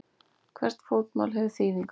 Hvert fótmál hefur þýðingu.